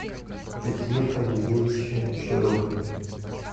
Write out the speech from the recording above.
петре фанилевиче широкове